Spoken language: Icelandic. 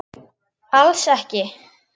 Alls ekki.